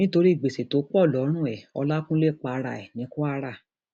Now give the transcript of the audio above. nítorí gbèsè tó pọ lọrùn ẹ ọlákúnlẹ para ẹ ní kwara